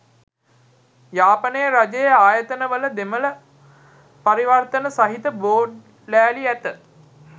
යාපනයේ රජයේ ආයතනවල දෙමල පරිවර්තන සහිත බෝඩ් ලෑලි ඇත.